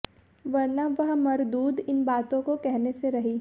वरना वह मरदूद इन बातों को कहने से रही